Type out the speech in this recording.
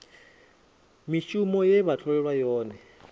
mishumo ye vha tholelwa yone